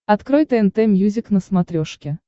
открой тнт мьюзик на смотрешке